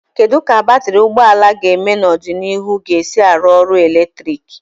Kedu ka batrị ụgbọ ala ga-eme n'ọdịnihu ga-esi arụ ọrụ eletrik?